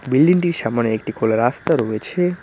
বিল্ডিংটির সামোনে একটি খোলা রাস্তা রয়েছে।